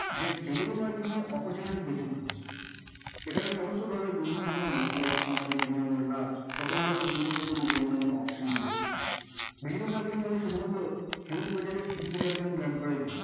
যে digital marketing এর opportunity প্রচুর যেখানে সমস্ত ধরণের business এর জন্য like small medium large সকল ধরণের business এর জন্য কোনো না কোনো option রয়েছে। digital marketing মানে শুধুমাত্র huge budget এর